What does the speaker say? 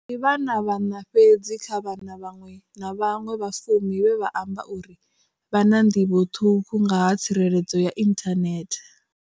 Ndi vhana vhaṋa fhedzi kha vhana vhaṅwe na vhaṅwe vha fumi vhe vha amba uri vha na nḓivho ṱhukhu nga ha tsireledzo ya inthanethe.